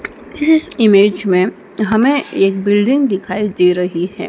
इस इमेज में हमें एक बिल्डिंग दिखाई दे रही है।